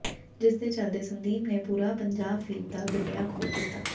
ਜਿਸਦੇ ਚਲਦੇ ਸੰਦੀਪ ਨੇ ਪੂਰਾ ਪੰਜਾਹ ਫ਼ੀਟ ਦਾ ਗੱਡਿਆ ਖੋਦ ਦਿੱਤਾ